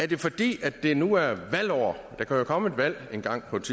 det fordi det nu er valgår der kan jo komme et valg engang på et